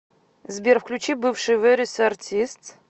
сбер включи бывшие вэрис артистс